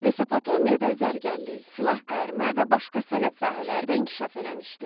Mesopotamiyada zərgərlik, silah qayırma və başqa sənət sahələri də inkişaf eləmişdi.